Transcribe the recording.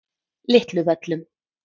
Litlu Völlum